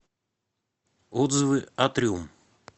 отзывы атриум